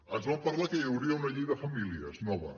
ens van parlar que hi hauria una llei de famílies nova